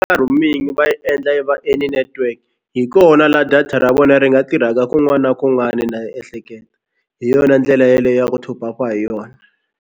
Roaming va yi endla yi va any network hi kona laha data ra vona ri nga tirhaka kun'wani na kun'wani na ehleketa hi yona ndlela yeleyo ya ku top up-pa hi yona.